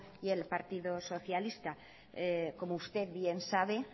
y el partido socialista como usted bien sabe